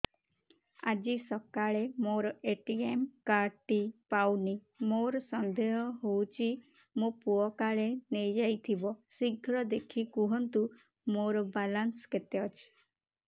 ଆଜି ସକାଳେ ମୋର ଏ.ଟି.ଏମ୍ କାର୍ଡ ଟି ପାଉନି ମୋର ସନ୍ଦେହ ହଉଚି ମୋ ପୁଅ କାଳେ ନେଇଯାଇଥିବ ଶୀଘ୍ର ଦେଖି କୁହନ୍ତୁ ମୋର ବାଲାନ୍ସ କେତେ ଅଛି